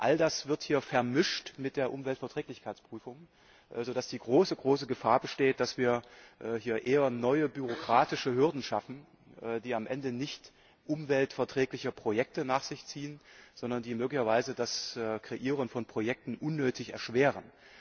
All das wird hier vermischt mit der Umweltverträglichkeitsprüfung, sodass die große Gefahr besteht, dass wir hier eher neue bürokratische Hürden schaffen, die am Ende nicht umweltverträgliche Projekte nach sich ziehen, sondern die möglicherweise das Kreieren von Projekten unnötig erschweren.